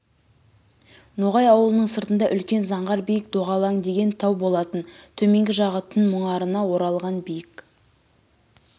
ноғай ауылының сыртында үлкен заңғар биік доғалаң деген тау болатын төменгі жағы түн мұңарына оралған биік